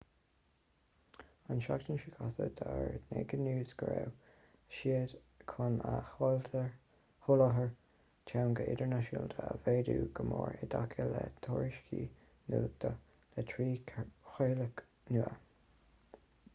an tseachtain seo caite d'fhógair naked news go raibh siad chun a sholáthar teanga idirnáisiúnta a mhéadú go mór i dtaca le tuairisciú nuachta le trí chraoladh nua